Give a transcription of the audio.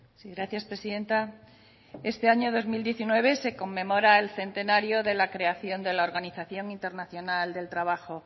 sí gracias presidenta este año dos mil diecinueve se conmemora el centenario de la creación de la organización internacional del trabajo